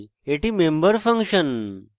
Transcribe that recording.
এটি member function